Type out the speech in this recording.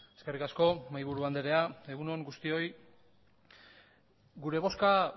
eskerrik asko mahaiburu andrea egun on guztioi gure bozka